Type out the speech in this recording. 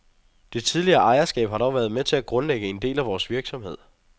Det tidligere ejerskab har dog været med til at grundlægge en del af vores virksomhed.